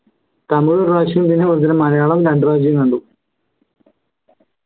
തമിഴ് ഒരു പ്രാവശ്യം പിന്നെ അതുപോലെതന്നെ മലയാളം രണ്ടു പ്രാവശ്യം കണ്ടു